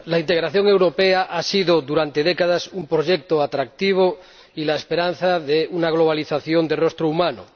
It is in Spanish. Señora Presidenta, la integración europea ha sido durante décadas un proyecto atractivo y la esperanza de una globalización de rostro humano.